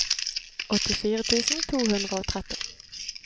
åttifire tusen to hundre og tretti